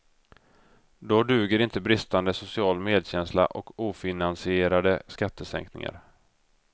Då duger inte bristande social medkänsla och ofinansierade skattesänkningar.